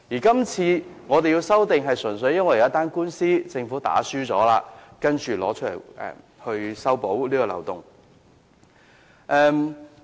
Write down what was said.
是次修訂亦純粹因為政府輸了一宗官司，才提出修補此漏洞。